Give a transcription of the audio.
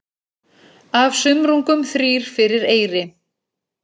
Af sumrungum þrír fyrir eyri.